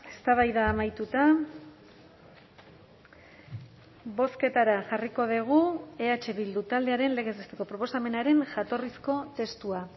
eztabaida amaituta bozketara jarriko dugu eh bildu taldearen legez besteko proposamenaren jatorrizko testua